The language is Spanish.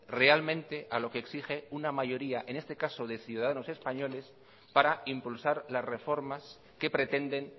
realmente a lo que exige una mayoría en este caso de ciudadanos españoles para impulsar las reformas que pretenden